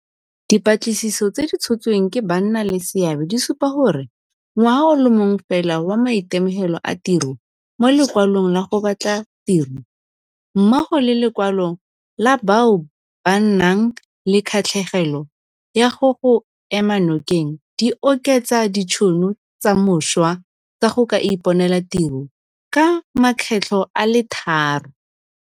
Dipatlisiso tse di tshotsweng ke bannaleseabe di supa gore ngwaga o le mongwe fela wa maitemogelo a tiro mo Lekwalong la go Batla Tiro, mmogo le lekwalo la bao ba nang le kgatlhegelo ya go go ema nokeng, di oketsa ditšhono tsa mošwa tsa go ka iponela tiro ka makgetlho a le tharo.